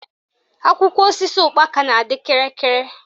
Akwụkwọ osisi ụkpaka na-adị kịrịkịrị